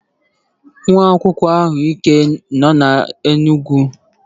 nwa akwụkwọ ahụike nọ na Enugwu yi uwe agba aja aja